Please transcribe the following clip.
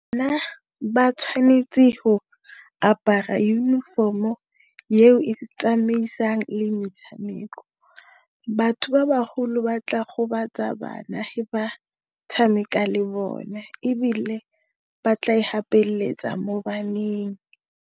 Nna ba tshwanetse go apara uniform-o ye o e tsamaisang le metshameko. Batho ba baholo ba tla gobatsa bana he ba tshameka le bone, ebile ba tla e igapeleletsa mo baneng.